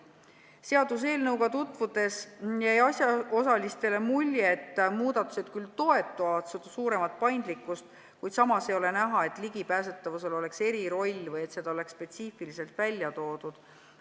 Seaduseelnõuga tutvudes jäi asjaosalistele mulje, et muudatused küll toetavad suuremat paindlikkust, kuid samas ei ole näha, et ligipääsetavusel oleks eriroll või see oleks spetsiifiliselt välja toodud.